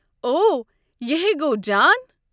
اوہہ یِہٕیہ گوٚ جان۔